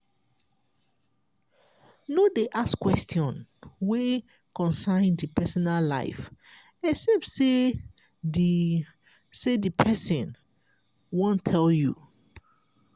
no dey ask question wey concern di personal life except sey di sey di person wan tell you